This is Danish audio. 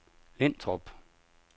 Lintrup